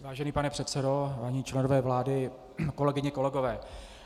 Vážený pane předsedo, vážení členové vlády, kolegyně, kolegové,